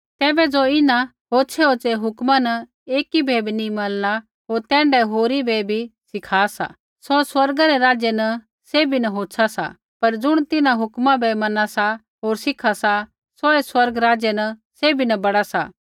तैबै ज़ो इन्हां होछ़ैहोछ़ै हुक्मा न एकी बै भी नी मनला होर तैण्ढाऐ होरी बै भी सिखा सा सौ स्वर्ग रै राज्य न सैभी न होछ़ा सा पर ज़ुण तिन्हां हुक्म बै मना सा होर सिखा सा सौऐ स्वर्ग राज्य न सैभी न बड़ा सा